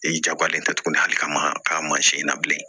Ee jagoyalen tɛ tuguni hali ka ma ka mansin in na bilen